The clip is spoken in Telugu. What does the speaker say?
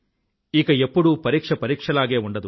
ఇక ఎప్పూడూ పరీక్ష పరీక్షలాగే ఉండదు